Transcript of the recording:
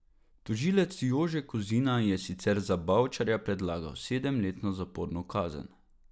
Tožilec Jože Kozina je sicer za Bavčarja predlagal sedemletno zaporno kazen.